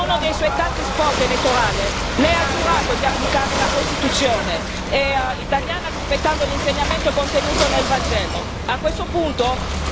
Caro ministro, in uno dei suoi tanti spot elettorali lei ha giurato di applicare la Costituzione italiana, rispettando l'insegnamento contenuto nel Vangelo.